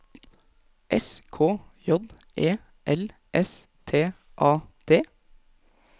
S K J E L S T A D